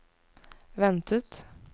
ventet